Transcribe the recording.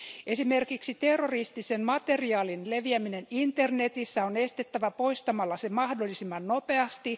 Esimerkiksi terroristisen materiaalin leviäminen internetissä on estettävä poistamalla se mahdollisimman nopeasti.